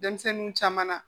Denmisɛnninw caman na